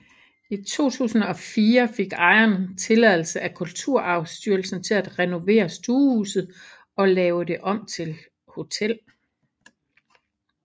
I 2004 fik ejeren tilladelse af Kulturarvsstyrelsen til at renovere stuehuset og lave det om til hotel